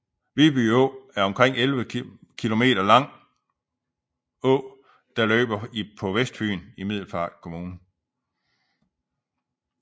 Viby Å er en omkring 11 km lang å der løber på Vestfyn i Middelfart Kommune